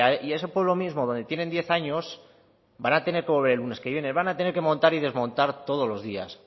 y ese pueblo mismo donde tienen diez años van a tener que volver el lunes que viene van a tener que montar y desmontar todos los días